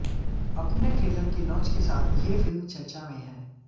अपने ट्रेलर के लांच के साथ ये फिल्म चर्चा में है